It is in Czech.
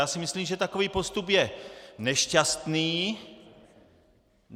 Já si myslím, že takový postup je nešťastný.